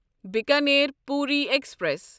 Bikaner Puri express